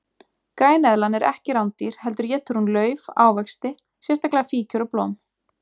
Græneðlan er ekki rándýr heldur étur hún lauf, ávexti, sérstaklega fíkjur og blóm.